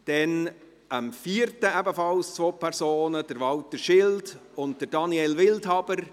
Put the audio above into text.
Dann am 4. August ebenfalls zwei Personen: Walter Schild und Daniel Wildhaber.